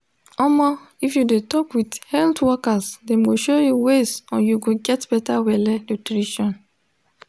omo if you de talk with health workers dem go show you ways on you go get better belle nutrition